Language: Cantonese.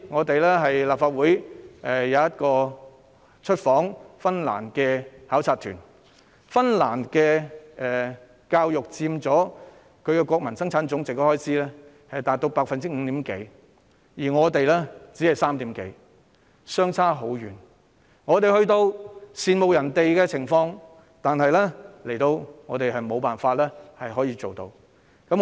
去年立法會有一個出訪芬蘭的考察團，芬蘭的教育開支佔其國民生產總值約 5%， 而我們的只佔約 3%， 兩者相差甚遠，我們只能羨慕他們，自己則無法做到這樣。